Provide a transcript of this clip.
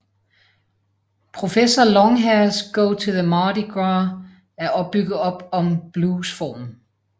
Professor Longhairs Go to the Mardi Gras er bygget op om bluesformen